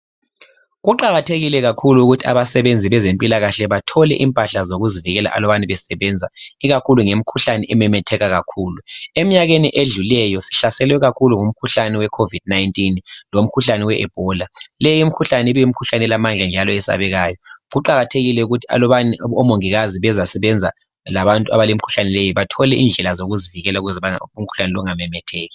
Kuqakathekile kakhulu ukuthi abasebenzi bezempilakahle bathole impahla zokuzivikela alubana besebenza ikakhulu ngemikhuhlane ememetheka kakhulu. Emnyakeni edlulileyo sihlaselwe kakhulu ngumkhuhlane we COVID-19 lomkhuhlane we Ebola. Leyi imikhuhlane ibilamandla njalo isesabeka. Kuqakathekile ukuthi alubani omongikazi bezasebenza labantu abalemikhuhlane leyi bathole indlela zokuzivikela ukuze umkhuhlane lowu ungamemetheki.